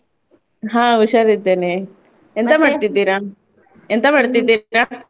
ಹ ಉಷಾರಿದ್ದೇನೆ, ಮಾಡ್ತಿದ್ದಿರ? ಎಂತ ಮಾಡ್ತಿದ್ದಿರ?